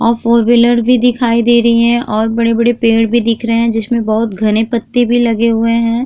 और four wheeler भी दिखाई दे रही है और बड़े-बड़े पेड़ भी दिख रहे हैं जिसमे बोहोत घने पत्ते भी लग रहे हैं।